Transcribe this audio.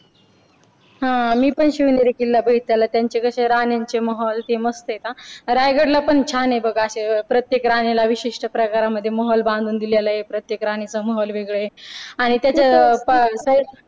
हा मी पण शिवनेरी किल्ला बघितलेला आहे. त्यांची कशी राण्यांचे महल ती मस्त आहे का रायगडला पण छान आहे बघ असे प्रत्येक राणीला विशिष्ट प्रकारांमध्ये महल बांधून दिलेला आहे. प्रत्येक राणीचा महल वेगळा आहे आणि त्याच्या अह